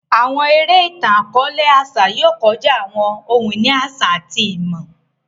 Àwọn eré itan-akọọlẹ àṣà yóò kọjá àwọn ohun-ìní àṣà àti ìmọ̀.